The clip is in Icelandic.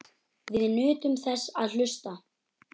Við nutum þess að hlusta.